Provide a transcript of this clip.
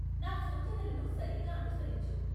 నా సూచనలను సరిగ్గా అనుసరించు.